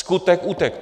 Skutek utek!